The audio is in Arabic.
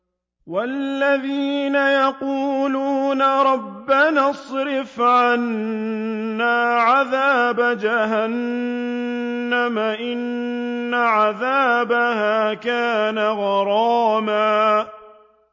وَالَّذِينَ يَقُولُونَ رَبَّنَا اصْرِفْ عَنَّا عَذَابَ جَهَنَّمَ ۖ إِنَّ عَذَابَهَا كَانَ غَرَامًا